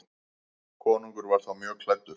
Konungur var þá mjög klæddur.